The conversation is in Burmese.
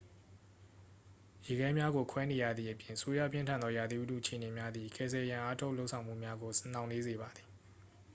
ရေခဲများကိုခွဲနေရသည့်အပြင် ဆိုးရွားပြင်းထန်သောရာသီဥတုအခြေအနေများသည် ကယ်ဆယ်ရန်အားထုတ်လုပ်ဆောင်မှုများကို နှောင့်နှေးစေပါသည်